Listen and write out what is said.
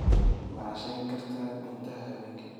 ma cashayn kartaa guntaha benki